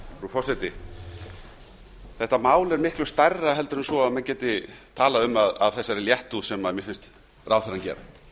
þetta mál er miklu stærra en svo að hægt sé að tala um það af þeirri léttúð sem mér finnst ráðherrann gera hann